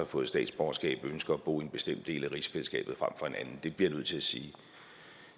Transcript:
fået statsborgerskab ønsker at bo i en bestemt del af rigsfællesskabet frem for en anden det bliver jeg nødt til at sige